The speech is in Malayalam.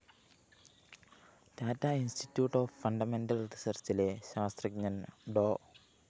ടാറ്റാ ഇൻസ്റ്റിറ്റ്യൂട്ട്‌ ഓഫ്‌ ഫണ്ടമെന്റൽ റിസര്‍ച്ചിലെ ശാസ്ത്രജ്ഞന്‍ ഡോ